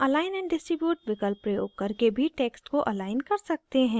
हम align and distribute विकल्प प्रयोग करके भी text को अलाइन कर सकते हैं